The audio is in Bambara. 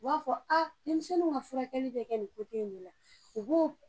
U b'a fɔ a, denmisɛnninw ka furakɛli be kɛ nin cogo in de la, u b'o